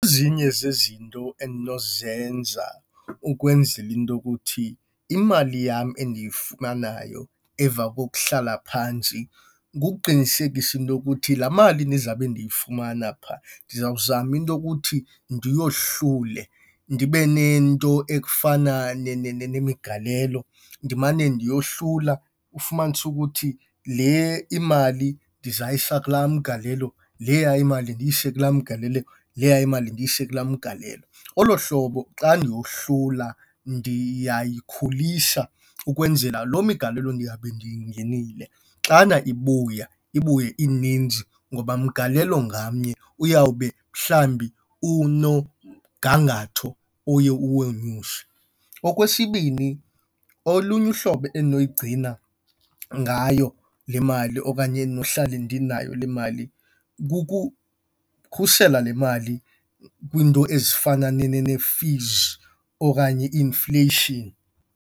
Ezinye zezinto endinozenza ukwenzela into yokuthi imali yam endiyifumanayo emva kokuhlala phantsi kukuqinisekisa into yokuthi laa mali ndizabe ndiyifumana phaa, ndizawuzama into yokuthi ndiyohlule. Ndibe nento ekufana nemigalelo ndimane ndiyohlula. Ufumanise ukuthi le imali ndizayiyisa kulaa mgalelo, leya imali ndiyise kulaa mgalelo, leya imali ndiyise kulaa mgalelo. Olo hlobo xa ndiyohlula ndiyayikhulisa ukwenzela loo migalelo ndiyawube ndiyingenile xana ibuya ibuye ininzi ngoba mgalelo ngamnye uyawube mhlawumbi unomgangatho oye uwonyuse. Okwesibini, olunye uhlobo endinoyigcina ngayo le mali okanye endinohlale ndinayo le mali kukukhusela le mali kwiinto ezifana nee-fees okanye i-inflation.